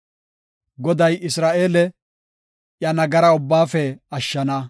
Goday Isra7eele, iya nagaraa ubbaafe ashshana.